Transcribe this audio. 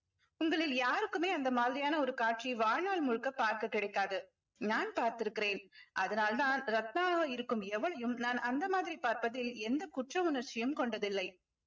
உங்களில் யாருக்குமே அந்த மாதிரியான ஒரு காட்சி வாழ்நாள் முழுக்க பார்க்கக் கிடைக்காது நான் பார்த்திருக்கிறேன் அதனால்தான் ரத்னாவா இருக்கும் எவளையும் நான் அந்த மாதிரி பார்ப்பதில் எந்த குற்ற உணர்ச்சியும் கொண்டதில்லை